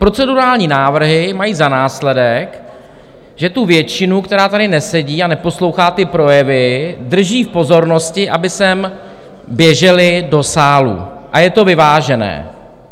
Procedurální návrhy mají za následek, že tu většinu, která tady nesedí a neposlouchá ty projevy, drží v pozornosti, aby sem běžely do sálu, a je to vyvážené.